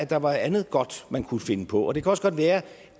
der var andet godt man kunne finde på det kan også godt være